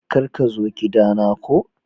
Kar ka zo kidana ku.